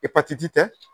Epatiti tɛ